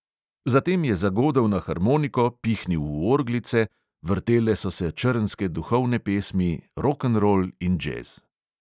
Zatem je zagodel na harmoniko, pihnil v orglice, vrtele so se črnske duhovne pesmi, rokenrol in džez.